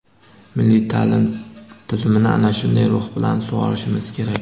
milliy ta’lim tizimini ana shunday ruh bilan sug‘orishimiz kerak.